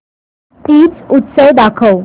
तीज उत्सव दाखव